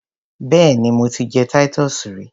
Béèni mo ti jẹ Titus rí.